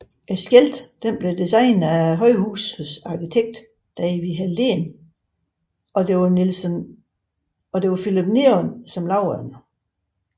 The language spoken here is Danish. Skiltet blev designet af højhusets arkitekt David Helldén og Philips Neon lavede det